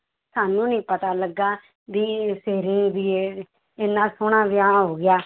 ਸਾਨੂੰ ਨੀ ਪਤਾ ਲੱਗਾ ਵੀ ਵੀ ਇਹ ਇੰਨਾ ਸੋਹਣਾ ਵਿਆਹ ਹੋ ਗਿਆ।